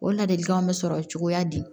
O ladilikanw bɛ sɔrɔ cogoya di